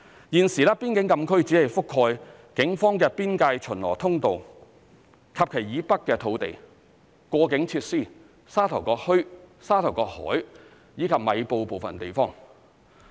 現時，邊境禁區只覆蓋警方的邊界巡邏通道及其以北的土地、過境設施、沙頭角墟、沙頭角海，以及米埔部分地方。